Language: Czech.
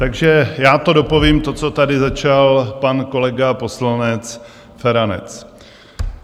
Takže já to dopovím, to, co tady začal pan kolega poslanec Feranec.